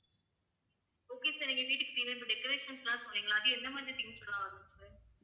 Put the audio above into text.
okay sir எங்க வீட்டுக்கு தேவையான இப்ப decorations லாம் சொன்னீங்க இல்ல அது என்ன மாதிரி things லாம் வரும் sir